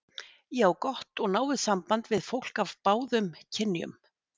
Ég á gott og náið samband við fólk af báðum kynjum.